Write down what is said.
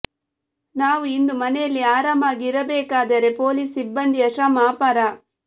ನಾವು ಇಂದು ಮನೆಯಲ್ಲಿ ಆರಾಮಾಗಿ ಇರಬೇಕಾದರೆ ಪೊಲೀಸ್ ಸಿಬ್ಬಂದಿಯ ಶ್ರಮ ಅಪಾರ